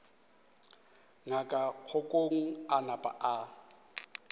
ngaka kgokong a napa a